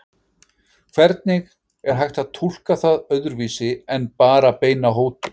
Hvernig er hægt að túlka það öðruvísi en bara beina hótun?